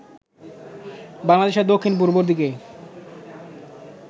বাংলাদেশের দক্ষিণ-পূর্ব দিকে